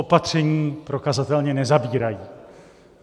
Opatření prokazatelně nezabírají.